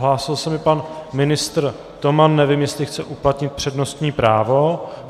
Hlásil se mi pan ministr Toman, nevím, jestli chce uplatnit přednostní právo.